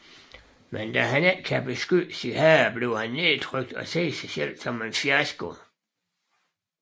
Men da han ikke kan beskytte sin herre bliver han nedtrykt og ser sig som en fiasko